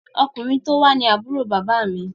Ọkùnrin tó wá ní Àbúrò bàbá mi